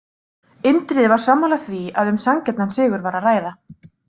Indriði var sammála því að um sanngjarnan sigur var að ræða.